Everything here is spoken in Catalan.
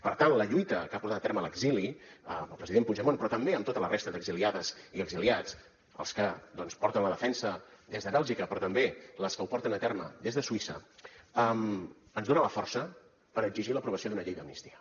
per tant la lluita que ha portat a terme l’exili amb el president puigdemont però també amb tota la resta d’exiliades i exiliats els que doncs porten la defensa des de bèlgica però també les que ho porten a terme des de suïssa ens dona la força per exigir l’aprovació d’una llei d’amnistia